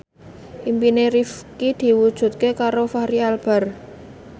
impine Rifqi diwujudke karo Fachri Albar